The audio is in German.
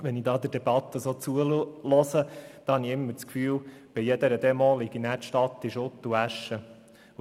Wenn ich dieser Debatte zuhöre, habe ich den Eindruck, dass die Stadt Bern nach jeder Demo in Schutt und Asche liegt.